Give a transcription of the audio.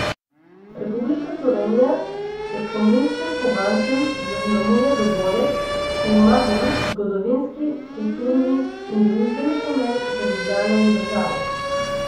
Republika Slovenija s spominskim kovancem zaznamuje dogodek, ki ima velik zgodovinski, kulturni in družbeni pomen za Ljubljano in državo.